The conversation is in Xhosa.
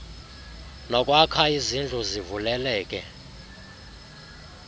nokwakha izindlu zivuleleke